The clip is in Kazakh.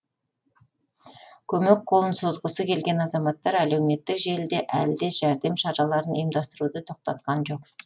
көмек қолын созғысы келген азаматтар әлеуметтік желіде әлі де жәрдем шараларын ұйымдастыруды тоқтатқан жоқ